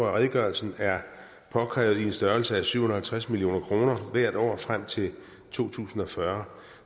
af redegørelsen er påkrævet i en størrelse af syv hundrede og halvtreds million kroner hvert år frem til to tusind og fyrre